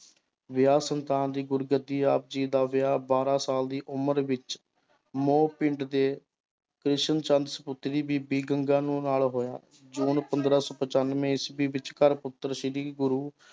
ਵਿਆਹ ਸੰਤਾਨ ਦੀ ਗੁਰਗੱਦੀ, ਆਪ ਜੀ ਦਾ ਵਿਆਹ ਬਾਰਾਂ ਸਾਲ ਦੀ ਉਮਰ ਵਿੱਚ ਮੋਹ ਪਿੰਡ ਦੇ ਕ੍ਰਿਸ਼ਨ ਚੰਦ ਸਪੁੱਤਰੀ ਬੀਬੀ ਗੰਗਾ ਨੂੰ ਨਾਲ ਹੋਇਆ ਜੂਨ ਪੰਦਰਾਂ ਸੌ ਪਚਾਨਵੇਂ ਈਸਵੀ ਵਿੱਚ ਸ੍ਰੀ ਗੁਰੂ